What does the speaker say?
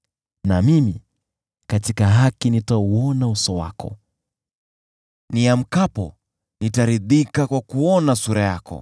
Na mimi katika haki nitauona uso wako, niamkapo, nitaridhika kwa kuona sura yako.